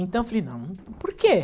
Então eu falei, não, por quê?